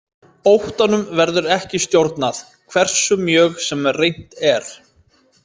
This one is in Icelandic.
Óttanum verður ekki stjórnað, hversu mjög sem reynt er.